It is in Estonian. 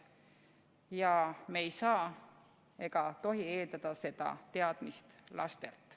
Ja me ei tohi eeldada seda teadmist lastelt.